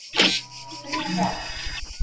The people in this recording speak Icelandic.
Þrjú ráð